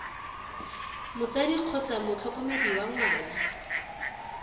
motsadi kgotsa motlhokomedi wa ngwana